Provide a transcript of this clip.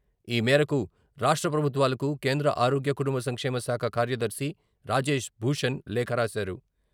ఈ మేరకు రాష్ట్ర ప్రభుత్వాలకు కేంద్ర ఆరోగ్య, కుటుంబ సంక్షేమ శాఖ కార్యదర్శి రాజేశ్ భూషణ్ లేఖ రాశారు.